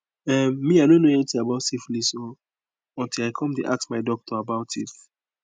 um me i no know anything about syphilis o until i come the ask my doctor about it